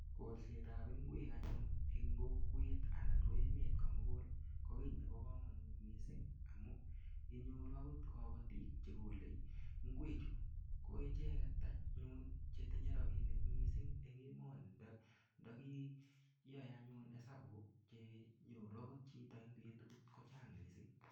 Kolset ab ingwek anyun en kokwet añan ko emet komugul Nebo kamanut mising amun inyoru okot kabatindet ak bik Chekole ingwek Chu koicheket anyun chetinye rabinik mising en emoni ntakiyae anyun hesabu chenyoru okot Chito en betut kochang mising